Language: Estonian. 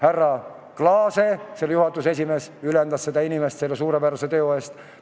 Härra Klaas, nõukogu esimees, ülendas seda inimest selle suurepärase teo eest.